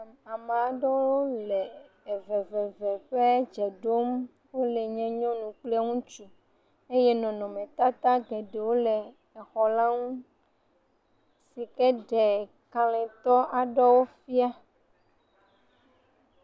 Ame aɖewo le eveveve ƒe dze ɖom. Wo le nye nyɔnu kple ŋutsu eye nɔnɔmetata geɖewo le exɔ la ŋu yi ke ɖe kaletɔ aɖewo fia.